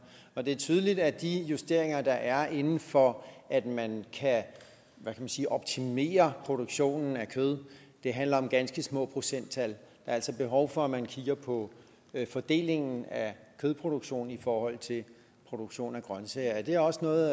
det er tydeligt at de justeringer der er inden for at man kan optimere produktionen af kød handler om ganske små procenttal er altså behov for at man kigger på fordelingen af kødproduktionen i forhold til produktion af grønsager er det også noget